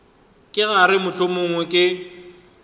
ke ra gore mohlomongwe ke